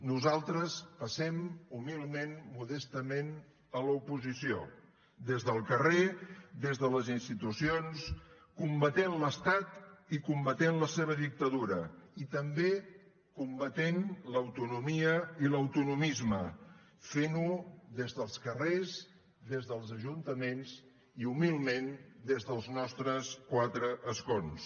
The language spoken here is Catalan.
nosaltres passem humilment modestament a l’oposició des del carrer des de les institucions combatent l’estat i combatent la seva dictadura i també combatent l’autonomia i l’autonomisme fent ho des dels carrers des dels ajuntaments i humilment des dels nostres quatre escons